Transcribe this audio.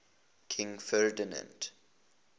king ferdinand